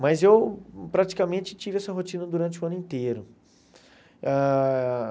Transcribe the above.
Mas eu praticamente tive essa rotina durante o ano inteiro ãh.